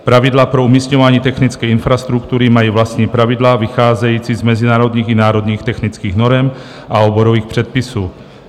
Pravidla pro umisťování technické infrastruktury mají vlastní pravidla, vycházející z mezinárodních i národních technických norem a oborových předpisů.